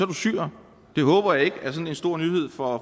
du syrer det håber jeg ikke er sådan en stor nyhed for